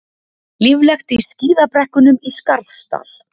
Líflegt í skíðabrekkunum í Skarðsdal